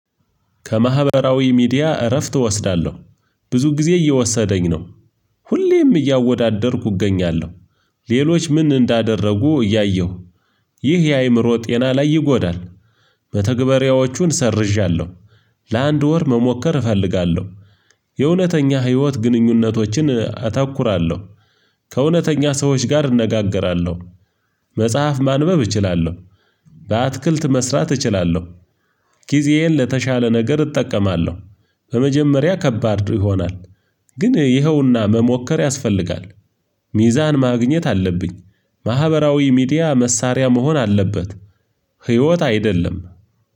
ከማህበራዊ ሚዲያ እረፍት እወስዳለሁ። ብዙ ጊዜዬን እየወሰደብኝ ነው። ሁሌም እያወዳደርኩ እገኛለሁ። ሌሎች ምን እንዳደረጉ እያየሁ። ይህ የአእምሮ ጤና ይጎዳል። መተግበሪያዎቹን ሰርዣለሁ። ለአንድ ወር መሞከር እፈልጋለሁ። የእውነተኛ ህይወት ግንኙነቶችን አተኩራለሁ። ከእውነተኛ ሰዎች ጋር እነጋገራለሁ። መጽሐፍ ማንበብ እችላለሁ። አትክልት መስራት እችላለሁ። ጊዜዬን ለተሻለ ነገር እጠቀማለሁ። በመጀመሪያ ከባድ ይሆናል። ግን ይኸውና መሞከር ያስፈልጋል። ሚዛን ማግኘት አለብኝ። ማህበራዊ ሚዲያ መሳሪያ መሆን አለበት። ህይወት አይደለም።